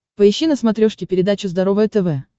поищи на смотрешке передачу здоровое тв